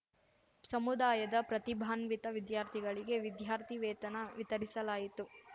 ಸಮುದಾಯದ ಪ್ರತಿಭಾನ್ವಿತ ವಿದ್ಯಾರ್ಥಿಗಳಿಗೆ ವಿದ್ಯಾರ್ಥಿ ವೇತನ ವಿತರಿಸಲಾಯಿತು